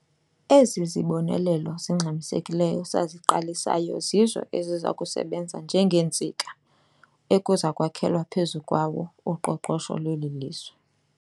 Ezi zibonelelo zingxamisekileyo saziqalisayo zizo eziza kusebenza njengeentsika ekuza kwakhelwa phezu kwawo uqoqosho lweli lizwe.